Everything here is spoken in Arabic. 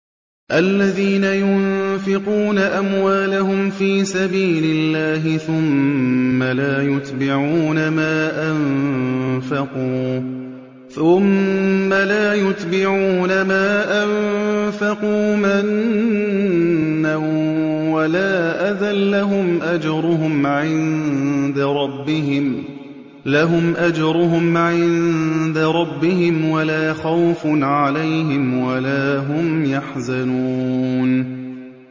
الَّذِينَ يُنفِقُونَ أَمْوَالَهُمْ فِي سَبِيلِ اللَّهِ ثُمَّ لَا يُتْبِعُونَ مَا أَنفَقُوا مَنًّا وَلَا أَذًى ۙ لَّهُمْ أَجْرُهُمْ عِندَ رَبِّهِمْ وَلَا خَوْفٌ عَلَيْهِمْ وَلَا هُمْ يَحْزَنُونَ